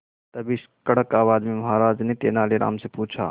तभी कड़क आवाज में महाराज ने तेनालीराम से पूछा